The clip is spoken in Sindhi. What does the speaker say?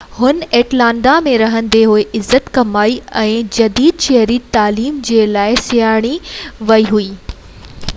هن اٽلانٽا ۾ رهندي عزت ڪمائي ۽ جديد شهري تعليم جي لاءِ سڃاتي ويئي هئي